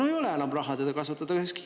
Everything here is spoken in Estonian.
No ei ole enam raha, et teda kasvatada.